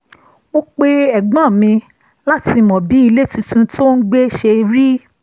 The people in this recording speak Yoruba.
mo pe ẹ̀gbọ́n mi láti mọ bí ilé tuntun tó ń gbé ṣe rí